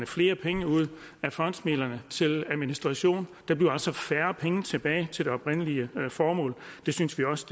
flere penge ud af fondsmidlerne til administration der bliver altså færre penge tilbage til det oprindelige formål det synes vi også